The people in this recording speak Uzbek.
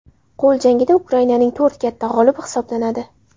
Qo‘l jangida Ukrainaning to‘rt katta g‘olibi hisoblanadi.